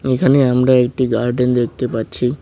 এখানে আমরা একটি গার্ডেন দেখতে পাচ্ছি।